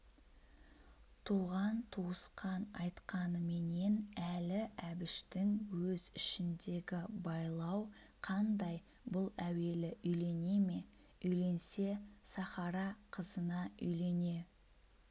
туған-туысқан айтқаныменен әлі әбіштің өз ішіндегі байлау қандай бұл әуелі үйлене ме үйленсе сахара қызына үйлене